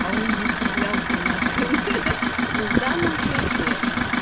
а он не цеплялся на хрен хе хе но в данном случае